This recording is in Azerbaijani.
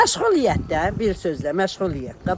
Məşğuliyyətdə, bir sözlə məşğuliyyətdə.